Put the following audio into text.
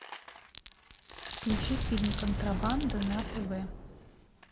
включи фильм контрабанда на тв